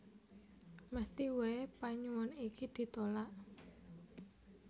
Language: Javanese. Mesthi waé panyuwun iki ditulak